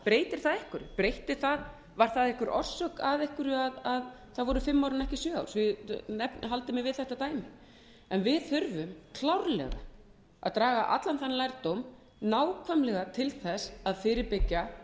þýðir það breytir það einhverju var það orsök að einhverju að það voru fimm ár en ekki sjö ár svo ég haldi mig við þetta dæmi en við þurfum klárlega að draga allan þann lærdóm nákvæmlega til þess að fyrirbyggja